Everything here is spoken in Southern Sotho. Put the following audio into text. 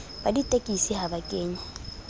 ba ditekesi ha ba kenye